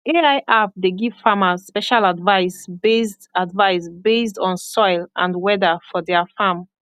ai app dey give farmers special advice based advice based on soil and weather for their farm